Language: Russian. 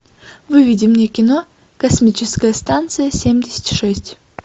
выведи мне кино космическая станция семьдесят шесть